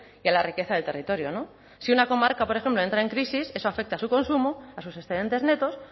y a la riqueza del territorio no si una comarca por ejemplo entra en crisis eso afecta a su consumo a sus excedentes netos